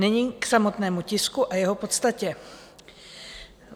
Nyní k samotnému tisku a jeho podstatě.